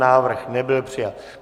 Návrh nebyl přijat.